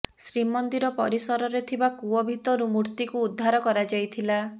ଶ୍ରୀମନ୍ଦିର ପରିସରରେ ଥିବା କୁଅ ଭିତରୁ ମୂର୍ତ୍ତିକୁ ଉଦ୍ଧାର କରାଯାଇଥିଲା